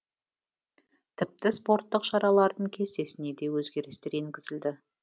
тіпті спорттық шаралардың кестесіне де өзгерістер енгізілді